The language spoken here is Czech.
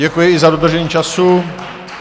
Děkuji i za dodržení času.